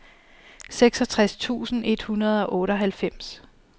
seksogtres tusind et hundrede og otteoghalvfems